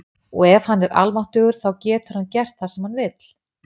og ef hann er almáttugur þá getur hann gert það sem hann vill